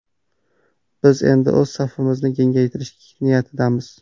Biz endi o‘z safimizni kengaytirish niyatidamiz.